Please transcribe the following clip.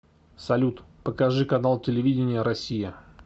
салют покажи канал телевидения россия